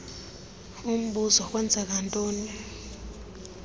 umbuzo kwenzeka ntoni